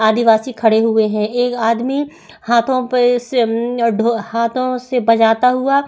आदवासी खड़े हुए है। एक आदमी हाथो पे से अम हाथो से बजता हुआ--